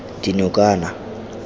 dinokana